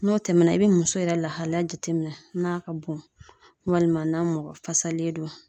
N'o tɛmɛna, i bɛ muso yɛrɛ lahalaya jateminɛ n'a ka bon walima n'a mɔgɔ fasalen don.